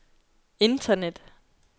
internet